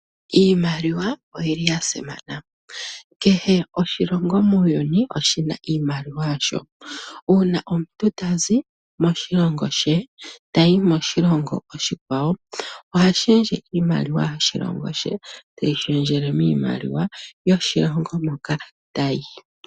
Iimaliwa oyili yasimana. Kehe oshilongo muuyuni oshina iimaliwa imaliwa shasho. Uuna omuntu tazi moshilongo she, tayi moshilongo oshikwawo ohashendje iimaliwa yoshilongo she, teyi shendjelwe miimaliwa yoshilongo shoka tayi.